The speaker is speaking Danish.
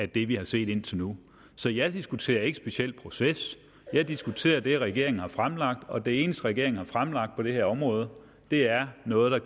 det vi har set indtil nu så jeg diskuterer ikke specielt proces jeg diskuterer det regeringen har fremlagt og det eneste regeringen har fremlagt på det her område er noget der